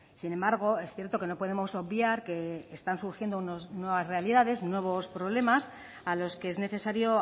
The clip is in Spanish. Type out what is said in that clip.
sin embargo es cierto que no podemos obviar que están surgiendo unas nuevas realidades nuevos problemas a los que es necesario